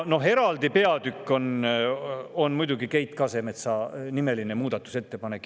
Eraldi peatükk on muidugi Keit Kasemetsa nimeline muudatusettepanek.